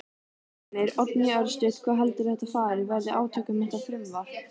Heimir: Oddný, örstutt, hvað heldurðu að þetta fari, verði átök um þetta frumvarp?